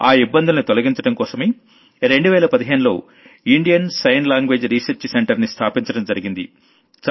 ఆ ఇబ్బందుల్ని తొలగించడం కోసమే 2015లో Indian sign language research centre ని స్థాపించడం జరిగింది